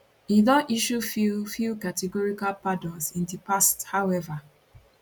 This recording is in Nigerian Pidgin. e don issue few few categorical pardons in di past however